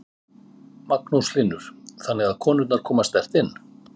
Magnús Hlynur: Þannig að konurnar koma sterkt inn?